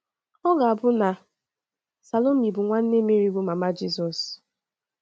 Ọ ga - abụ na Salomi bụ nwanne Meri, bụ́ mama Jizọs.